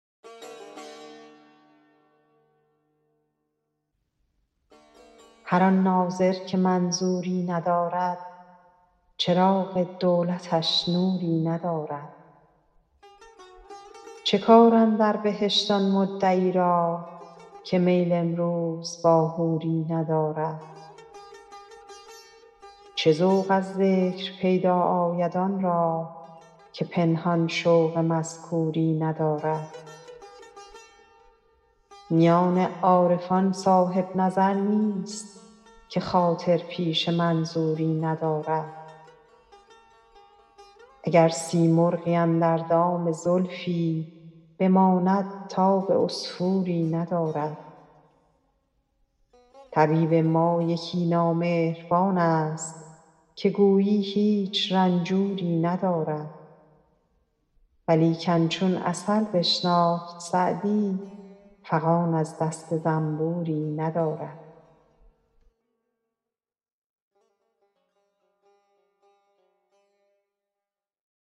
هر آن ناظر که منظوری ندارد چراغ دولتش نوری ندارد چه کار اندر بهشت آن مدعی را که میل امروز با حوری ندارد چه ذوق از ذکر پیدا آید آن را که پنهان شوق مذکوری ندارد میان عارفان صاحب نظر نیست که خاطر پیش منظوری ندارد اگر سیمرغی اندر دام زلفی بماند تاب عصفوری ندارد طبیب ما یکی نامهربان ست که گویی هیچ رنجوری ندارد ولیکن چون عسل بشناخت سعدی فغان از دست زنبوری ندارد